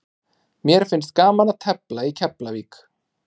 Mér finnst gaman að tefla í Keflavík.